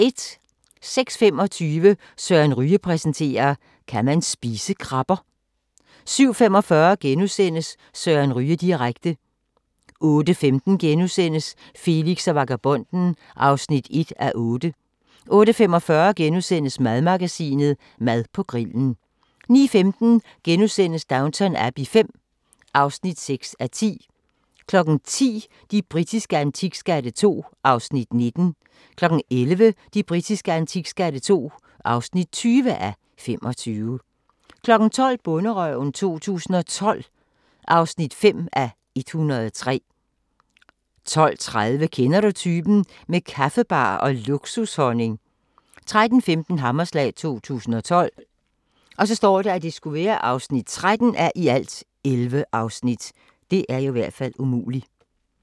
06:25: Søren Ryge præsenterer: Kan man spise krabber? 07:45: Søren Ryge direkte * 08:15: Felix og vagabonden (1:8)* 08:45: Madmagasinet: Mad på grillen * 09:15: Downton Abbey V (6:10)* 10:00: De britiske antikskatte II (19:25) 11:00: De britiske antikskatte II (20:25) 12:00: Bonderøven 2012 (5:103) 12:30: Kender du typen? – med kaffebar og luksushonning 13:15: Hammerslag 2012 (13:11)